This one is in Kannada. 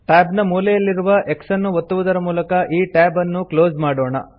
tab ನ ಮೂಲೆಯಲ್ಲಿರುವ x ಅನ್ನು ಒತ್ತುವುದರ ಮೂಲಕ ಈ tab ಅನ್ನು ಕ್ಲೋಸ್ ಮಾಡೋಣ